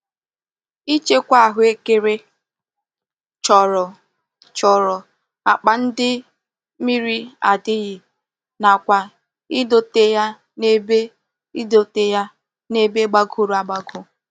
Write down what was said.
Ichekwa ahuekere choro choro akpa ndi mmiri adighi nakwa idote ya n'ebe idote ya n'ebe gbagoro agbago.